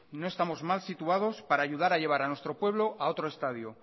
no estamos mal situados para ayudar a llevar a nuestro pueblo a otro estadio